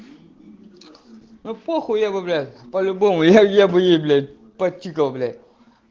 ну похуй я его блять по-любому я бы ей почикал блять